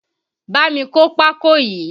Bámi kó pákó yìí!